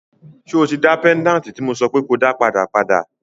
So tí dá péńdàtì tí mo sọ pé ko dá padà, padà?